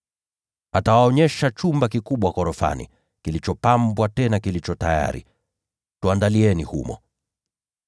Atawaonyesha chumba kikubwa ghorofani, kilichopambwa tena kilicho tayari. Tuandalieni humo.”